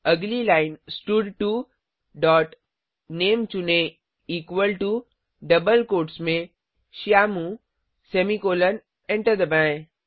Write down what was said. अगली लाइन स्टड2 dot name चुनें इक्वल टो डबल कोट्स में श्यामू सेमीकॉलन एंटर दबाएँ